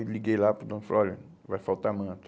Aí liguei lá para o dono e falei, olha, vai faltar manta.